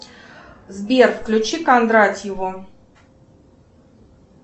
сбер включи кондратьеву